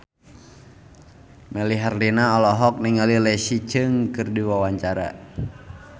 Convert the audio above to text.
Melly Herlina olohok ningali Leslie Cheung keur diwawancara